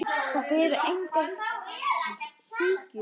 Þetta eru engar ýkjur.